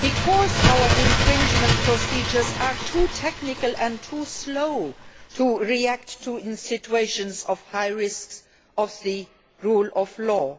because our infringement procedures are too technical and too slow to react to high risk situations concerning the rule of law,